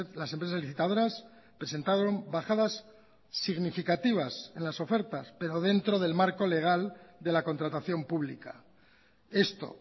las empresas licitadoras presentaron bajadas significativas en las ofertas pero dentro del marco legal de la contratación pública esto